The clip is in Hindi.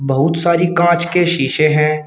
बहुत सारी कांच के शीशे हैं।